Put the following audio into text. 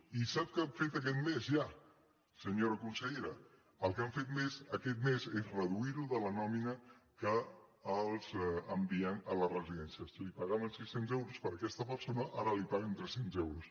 i sap què han fet aquest mes ja senyora consellera el que han fet aquest més és reduir·ho de la nòmina que els envien a les residències si pagaven sis cents euros per aquesta persona ara li paguen tres cents euros